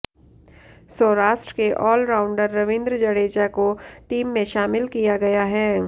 सौराष्ट्र के all rounder Ravindra Jadeja को team में शामिल किया गया है